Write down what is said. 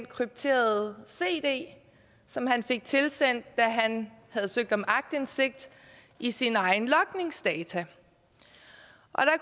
krypterede cd som han fik tilsendt da han havde søgt om aktindsigt i sine egne logningsdata